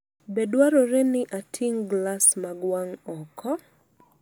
Be dwarore ni ating’ galas mag wang’ oko?